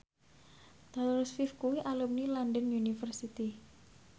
Taylor Swift kuwi alumni London University